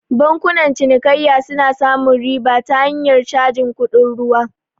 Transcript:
Bankunan cinikayya suna samun riba ta hanyar cajin kuɗin ruwa